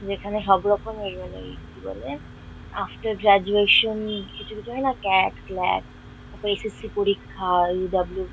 যেখানে সবরকমের মানে ওই কি বলে আফটার গ্রাজুয়েশন কিছু কিছু হয় না ক্লাট ফ্লাট.। তারপরে এস.এস.সি. পরীক্ষা ওই ডব্লু --